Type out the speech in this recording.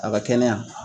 A ka kɛnɛya